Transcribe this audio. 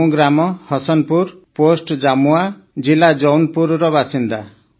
ମୁଁ ଗ୍ରାମହସନପୁର ପୋଷ୍ଟ ଜାମୁଆ ଜିଲ୍ଲା ଜୌନପୁରର ବାସିନ୍ଦା